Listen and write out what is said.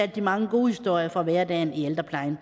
de mange gode historier fra hverdagen i ældreplejen